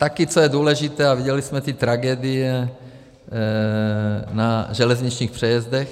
Taky co je důležité - a viděli jsme ty tragédie na železničních přejezdech.